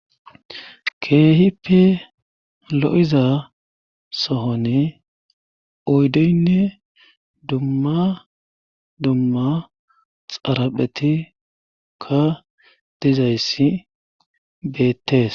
Keehipe lo7iza sohone oydeynne dumma dumma xaraphetikka dizayssi beettees.